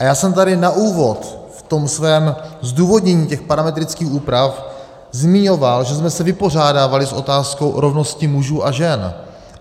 A já jsem tady na úvod v tom svém zdůvodnění těch parametrických úprav zmiňoval, že jsme se vypořádávali s otázkou rovnosti mužů a žen.